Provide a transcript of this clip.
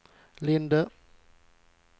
Linde